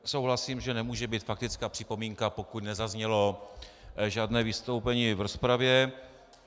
Souhlasím, že nemůže být faktická připomínka, pokud nezaznělo žádné vystoupení v rozpravě.